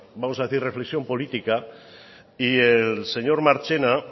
vamos a decir reflexión política y el señor marchena